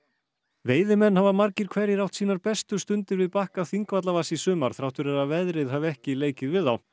veiðimenn hafa margir hverjir átt sínar bestu stundir við bakka Þingvallavatns í sumar þrátt fyrir að veðrið hafi ekki leikið við þá